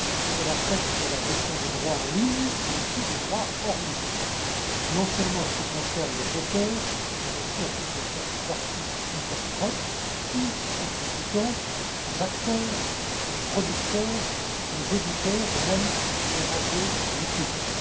Elle affecte la gestion des droits en ligne mais aussi des droits hors ligne, non seulement en ce qui concerne les auteurs mais aussi en ce qui concerne les artistes interprètes ou exécutants, les acteurs, les producteurs, les éditeurs et même les radiodiffuseurs.